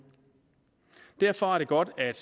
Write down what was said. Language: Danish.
derfor er det godt at